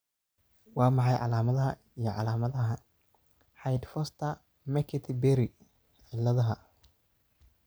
Waa maxay calaamadaha iyo calaamadaha Hyde Forster McCarthy Berry ciladaha?